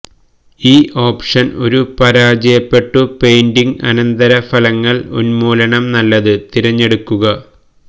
ഈ ഓപ്ഷൻ ഒരു പരാജയപ്പെട്ടു പെയിന്റിംഗ് അനന്തരഫലങ്ങൾ ഉന്മൂലനം നല്ലത് തിരഞ്ഞെടുക്കുക